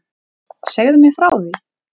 Segðu mér frá því?